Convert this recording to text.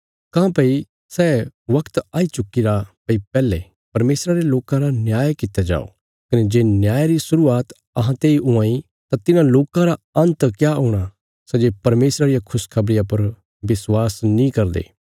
काँह्भई सै बगत आई चुक्कीरा भई पैहले परमेशरा रे लोकां रा न्याय कित्या जाओ कने जे न्याय री शुरुआत अहां तेई हुआं इ तां तिन्हां लोकां रा अन्त क्या हूणा सै जे परमेशरा रिया खुशखबरिया पर विश्वास नीं करदे